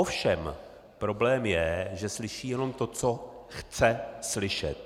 Ovšem problém je, že slyší jenom to, co chce slyšet.